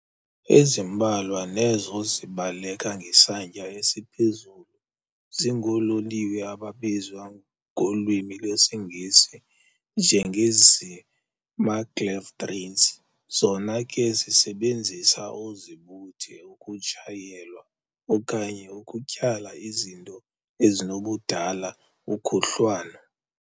Ezimbalwa nezo zibaleka ngesantya esiphezulu zingoololiwe ababizwa ngolwimi lwesiNgesi njenge-zii-maglev trains zona ke zisebenzisa oozibuthe ukutshayelwa okanye ukutyhala izinto ezinokudala ukhuhlwano.